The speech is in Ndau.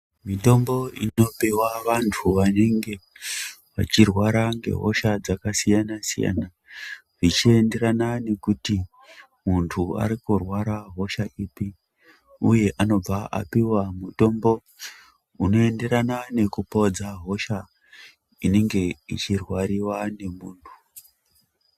Mitombo inopuwa vantu vanenge vachirwara ngehosha dzakasiyana-siyana, zvichienderana nekuti muntu ari kurwara hosha ipi, uye anobva apiwa mutombo unoenderana nekupodza hosha inenge ichirwariwa ngemuntu.